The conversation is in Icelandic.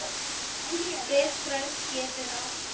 Bifröst getur átt við